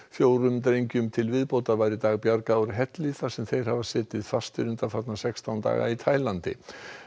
fjórum drengjum til viðbótar var í dag bjargað úr helli sem þeir hafa setið fastir í undanfarna sextán daga í Taílandi